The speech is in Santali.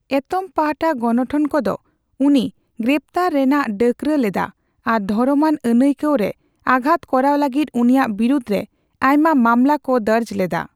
ᱮᱛᱚᱢ ᱯᱟᱦᱴᱟ ᱜᱚᱱᱚᱴᱷᱚᱱ ᱠᱚᱫᱚ ᱩᱱᱤ ᱜᱨᱮᱯᱷᱛᱟᱨ ᱨᱮᱱᱟᱜ ᱰᱟᱠᱨᱟ ᱞᱮᱫᱟ ᱟᱨ ᱫᱷᱚᱨᱚᱢᱟᱱ ᱟᱹᱱᱟᱹᱭᱠᱟᱹᱣ ᱨᱮ ᱟᱜᱷᱟᱛ ᱠᱚᱨᱟᱣ ᱠᱟᱹᱜᱤᱫ ᱩᱱᱤᱭᱟᱜ ᱵᱤᱨᱩᱫᱽᱨᱮ ᱟᱭᱢᱟ ᱢᱟᱢᱞᱟ ᱠᱚ ᱫᱚᱨᱡ ᱞᱮᱫᱟ ᱾